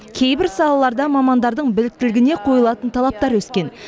кейбір салаларда мамандардың біліктілігіне қойылатын талаптар өскен